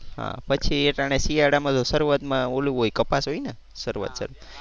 હા પછી અટાણે શિયાળ માં તો શરૂઆત માં ઓલું હોય કપાસ હોય ને શરૂઆત છે તો.